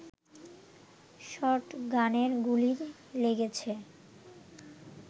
শটগানের গুলি লেগেছে